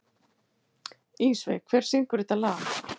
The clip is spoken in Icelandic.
Ísveig, hver syngur þetta lag?